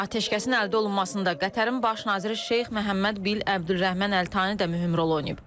Atəşkəsin əldə olunmasında da Qətərin baş naziri Şeyx Məhəmməd bil Əbdürrəhman əl-Tani də mühüm rol oynayıb.